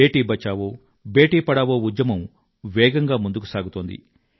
బేటీ బచావో బేటీ పఢావో ఉద్యమం వేగంగా ముందుకు సాగుతోంది